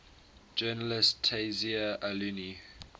journalist tayseer allouni